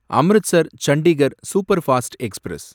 Amritsar Chandigarh superfast express